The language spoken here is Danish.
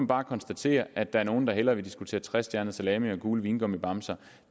bare konstatere at der er nogle der hellere vil diskutere trestjernet salami og gule vingummibamser